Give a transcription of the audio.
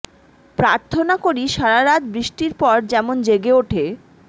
প্রার্থনা করি সারা রাত বৃষ্টির পর যেমন জেগে ওঠে